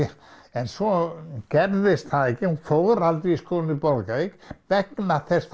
en svo gerðist það ekki hún fór aldrei í skólann í Bolungarvík vegna þess